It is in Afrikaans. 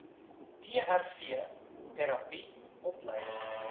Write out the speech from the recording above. trv terapie opleiding